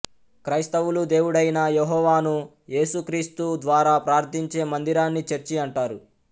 క్రైస్తవులు దేవుడైన యెహోవాను ఏసుక్రీస్తు ద్వారా ప్రార్థించే మందిరాన్ని చర్చి అంటారు